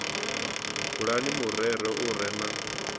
bulani murero u re na